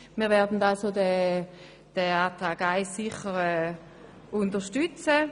Wir werden den Antrag 1 sicher unterstützen.